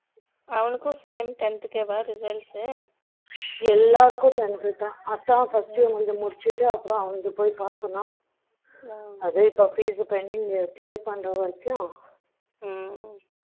அவனுக்கும் same tenth கேவா எல்லாருக்கும் tenth தான் அதுதான்first இவனது முடிச்சுட்டு அப்புறம் அவனோட பொய் பாக்கணும் அது இப்போ fees pending clear பண்ற வரைக்கும்